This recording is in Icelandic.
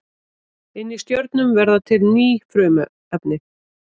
Inni í stjörnum verða til ný frumefni.